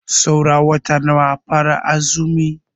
Saura wata nawa a fara azumi?